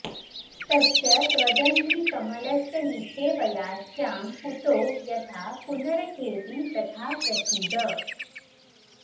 तस्य त्वदङ्घ्रिकमलस्य निषेवया स्यां पूतो यथा पुनरघेऽपि तथा प्रसीद